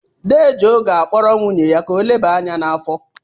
Dee Joe ga-akpọrọ nwunye ya ka ọ leba anya n'afọ.